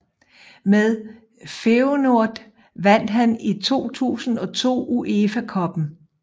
Med Feyenoord vandt han i 2002 UEFA Cuppen